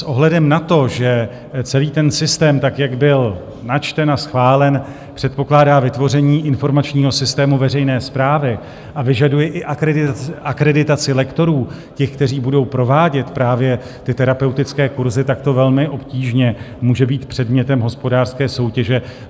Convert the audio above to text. S ohledem na to, že celý ten systém tak, jak byl načten a schválen, předpokládá vytvoření informačního systému veřejné správy a vyžaduje i akreditaci lektorů, těch, kteří budou provádět právě ty terapeutické kurzy, tak to velmi obtížně může být předmětem hospodářské soutěže.